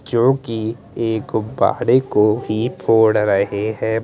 क्युकी एक बाड़े को ही फोड़ रहे हैं--